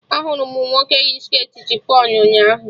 Ahụrụ m nwoke yi shirtị chifọn ụnyaahụ